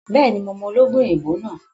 Bẹ́ẹ̀ni, mo mọ ológun èèbó náà